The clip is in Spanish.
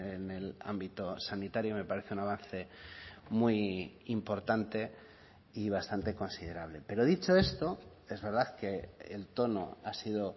en el ámbito sanitario me parece un avance muy importante y bastante considerable pero dicho esto es verdad que el tono ha sido